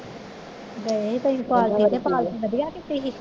ਗਏ ਹੀ ਤੁਹੀ ਪਾਰਟੀ ਤੇ ਪਾਰਟੀ ਵਧੀਆ ਕੀਤੀ ਹੀ